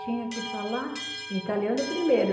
Tinha que falar italiano primeiro.